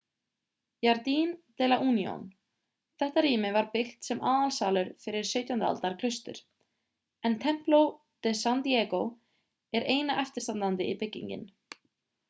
jardín de la unión þetta rými var byggt sem aðalsalur fyrir 17. aldar klaustur en templo de san diego er eina eftirstandandi byggingin